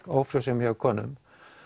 ófrjósemi hjá konum